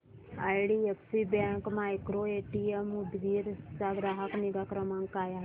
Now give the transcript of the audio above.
IDFC bank micro ATM Udgir चा ग्राहक निगा क्रमांक काय आहे सांगा